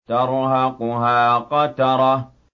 تَرْهَقُهَا قَتَرَةٌ